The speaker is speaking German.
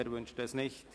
– Er wünscht es nicht.